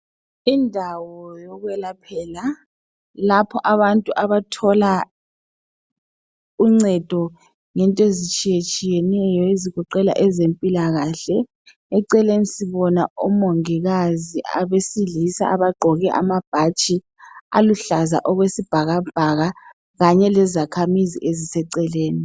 Indawo yokwelaphela, lapho abantu abathola uncedo ngento ezitshiyetshiyeneyo ezigoqela ezempilakahle. Eceleni sibona omongikazi abesilisa abagqoke amabhatshi aluhlaza okwesibhakabhaka kanye lezakhamizi eziseceleni.